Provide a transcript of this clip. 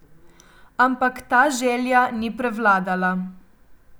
Ampak ta želja ni prevladala.